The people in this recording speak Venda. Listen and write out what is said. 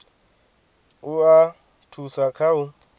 u a thusa kha u